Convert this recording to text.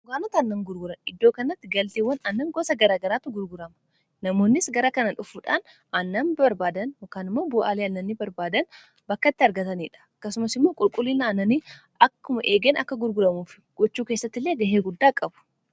gokaanota annan gurguran iddoo kannatti galtiiwwan annan gosa gara garaatu gurgurama namoonnis gara kana dhufuudhaan annan barbaadan mkaanmo bo'aaliananni barbaadan bakkatti argataniidha kasumas immoo qulqullinannani akkuma eegan akka gurguramuufi gochuu keessatti illee gahee guddaa qabu